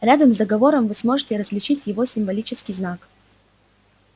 рядом с договором вы сможете различить его символический знак